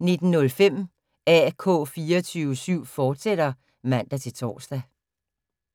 19:05: AK 24syv, fortsat (man-tor)